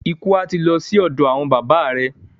Ikú à ti lo sí òdò àwon baba re.